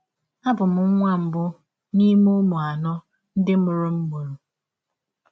Abụ m nwa mbụ n’ime ụmụ anọ ndị mụrụ m mụrụ.